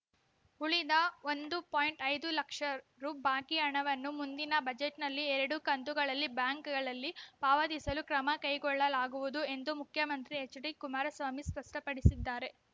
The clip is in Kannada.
ಉಳಿದ ಒಂದು ಪಾಯಿಂಟ್ ಐದು ಲಕ್ಷ ರು ಬಾಕಿ ಹಣವನ್ನು ಮುಂದಿನ ಬಜೆಟ್‌ನಲ್ಲಿ ಎರಡು ಕಂತುಗಳಲ್ಲಿ ಬ್ಯಾಂಕುಗಳಲ್ಲಿ ಪಾವತಿಸಲು ಕ್ರಮ ಕೈಗೊಳ್ಳಲಾಗುವುದು ಎಂದು ಮುಖ್ಯಮಂತ್ರಿ ಎಚ್‌ಡಿ ಕುಮಾರಸ್ವಾಮಿ ಸ್ಪಷ್ಟಪಡಿಸಿದ್ದಾರೆ